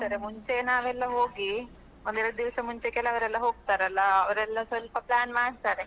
ಹೌದು ಅಂದ್ರೆ ಬೇರೆ ಬೇರೆ ಆಟಯೆಲ್ಲ ಇರ್ತದೆ. ಅಂದ್ರೆ ಬೇರೆ ಬೇರೆ ಆಟ ಆಡಿಸ್ತಾರೆ ಮುಂಚೆ ನಾವೆಲ್ಲ ಹೋಗಿ ಒಂದ್ ಎರಡ್ ದಿವ್ಸ ಮುಂಚೆ ಹೋಗಿ ಅವರೆಲ್ಲಾ ಸ್ವಲ್ಪ plan ಮಾಡ್ತಾರೆ.